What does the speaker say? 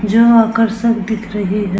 जो आकर्षक दिख रही है।